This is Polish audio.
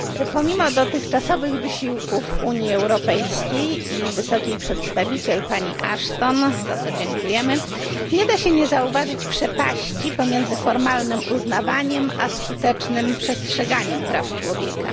Pomimo dotychczasowych wysiłków Unii Europejskiej i wysokiej przedstawiciel pani Ashton za co dziękujemy nie da się nie zauważyć przepaści pomiędzy formalnym uznawaniem a skutecznym przestrzeganiem praw człowieka.